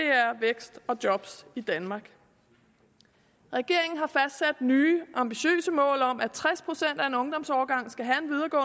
vækst og job i danmark regeringen har fastsat nye ambitiøse mål om at tres procent af en ungdomsårgang skal have